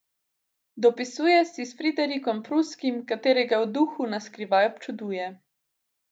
Dopisuje si s Friderikom Pruskim, katerega v duhu na skrivaj občuduje.